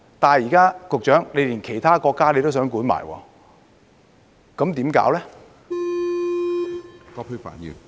但是，現在局長連其他國家也要管，那怎麼辦呢？